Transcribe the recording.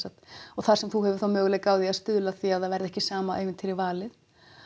og þar sem þú hefur þá möguleika á því að stuðla að því að það verði ekki sama ævintýri valið